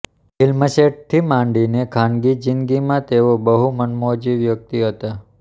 ફિલ્મસેટથી માંડીને ખાનગી જિંદગીમાં તેઓ બહુ મનમોજી વ્યક્તિ હતા